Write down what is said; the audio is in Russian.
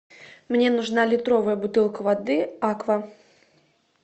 мне нужна литровая бутылка воды аква